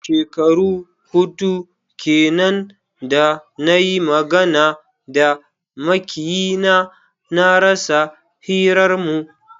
Shekaru hudu kenan da na yi magana da makiyina, na rasa hirarmu.